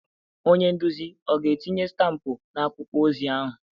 Onye nduzi ọ ga-etinye stampụ na akwụkwọ ozi ahụ?